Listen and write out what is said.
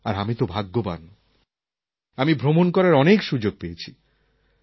আর আমি তো ভাগ্যবান আমি ভ্রমণ করার অনেক সুযোগ পেয়েছি